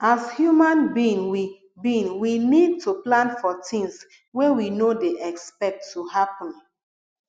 as human being we being we need to plan for things wey we no dey expect to happen